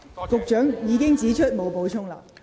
局長已經表示沒有補充。